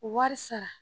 Wari sara